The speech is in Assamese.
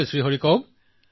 প্ৰধানমন্ত্ৰীঃ হয় হৰি কওক